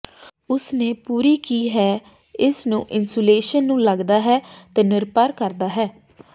ਉਸ ਨੇ ਪੂਰੀ ਕੀ ਹੈ ਇਸ ਨੂੰ ਇਨਸੂਲੇਸ਼ਨ ਨੂੰ ਲੱਗਦਾ ਹੈ ਤੇ ਨਿਰਭਰ ਕਰਦਾ ਹੈ